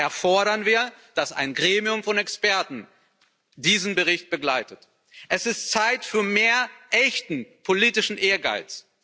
Daher fordern wir, dass ein Gremium von Experten diesen Bericht begleitet. Es ist Zeit für mehr echten politischen Ehrgeiz.